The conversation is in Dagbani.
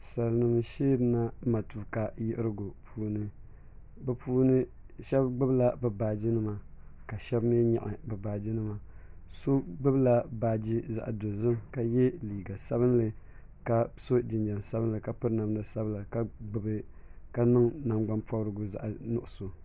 Sali nima n sheri na matuuka yiɣirigu puuni bi puuni shɛba gbubi la bi baaji nima ka shɛba mi yɛɣi bi baaji nima so gbubi la baaji zaɣi dozim ka ye liiga sabinli ka so jinjam sabinli ka piri namda sabila ka niŋ nagbani pɔbirigu zaɣi nuɣiso.